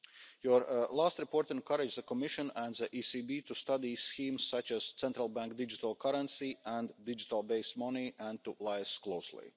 Your last report encouraged the Commission and the ECB to study schemes such as a central bank digital currency and digital base money and to liaise closely.